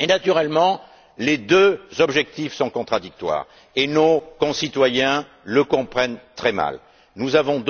Naturellement, les deux objectifs sont contradictoires et nos concitoyens le comprennent très mal. Dès lors, nous avons